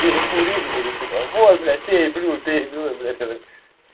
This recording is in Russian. перекурили такие типа вот блядь пей блю пей блю я так